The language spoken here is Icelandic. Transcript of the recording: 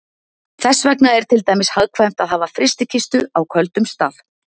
þess vegna er til dæmis hagkvæmt að hafa frystikistu á köldum stað